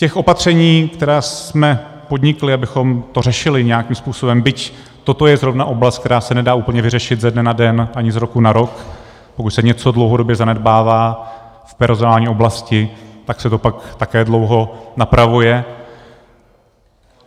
Těch opatření, která jsme podnikli, abychom to řešili nějakým způsobem, byť toto je zrovna oblast, která se nedá úplně vyřešit ze dne na den ani z roku na rok, pokud se něco dlouhodobě zanedbává v personální oblasti, tak se to pak také dlouho napravuje.